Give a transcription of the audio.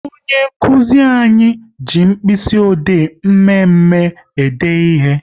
Onye nkụzi anyị ji mkpịsị ode mme mme e de ihe